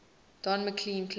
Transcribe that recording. don mclean classics